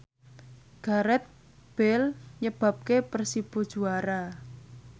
Gareth Bale nyebabke Persibo juara